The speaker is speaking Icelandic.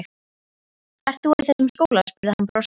Ekki ert þú í þessum skóla? spurði hann brosandi.